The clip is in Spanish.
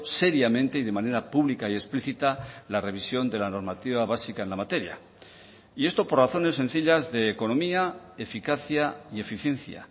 seriamente y de manera pública y explícita la revisión de la normativa básica en la materia y esto por razones sencillas de economía eficacia y eficiencia